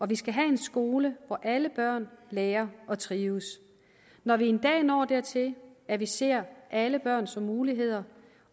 vi skal have en skole hvor alle børn lærer og trives når vi en dag når dertil at vi ser alle børn som muligheder